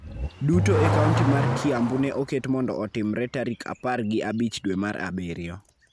duto e kaonti mar Kiambu ne oket mondo otimore tarik apar gi abich dwe mar Abiriyo.